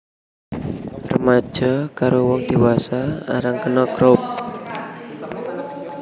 Remaja karo wong dewasa arang kena Croup